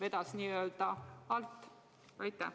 Et naabrimees vedas alt?